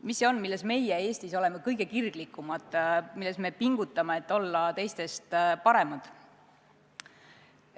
Mis see on, milles meie Eestis oleme kõige kirglikumad, kus me pingutame, et olla teistest paremad?